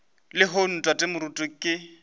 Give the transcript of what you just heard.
le lehono tate moruti ke